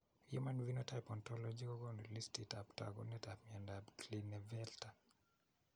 Human phenotype ontology kokoonu listiitab taakunetaab myondap Klinefelter.